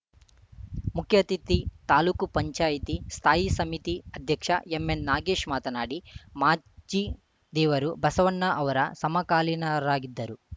ಮುಖ್ಯ ಅತಿಥಿ ತಾಲೂಕು ಪಂಚಾಯಿತಿ ಸ್ಥಾಯಿ ಸಮಿತಿ ಅಧ್ಯಕ್ಷ ಎಂಎನ್‌ ನಾಗೇಶ್‌ ಮಾತನಾಡಿ ಮಾಚಿದೇವರು ಬಸವಣ್ಣ ಅವರ ಸಮಕಾಲೀನರಾಗಿದ್ದರು